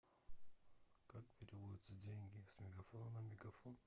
как переводятся деньги с мегафона на мегафон